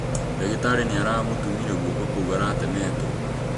Dagĩtarĩ nĩ aramũtumire guoko kũu aratemetũo